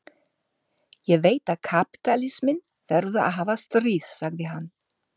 Ég veit að kapítalisminn verður að hafa stríð, sagði hann.